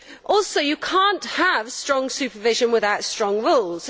Also you cannot have strong supervision without strong rules.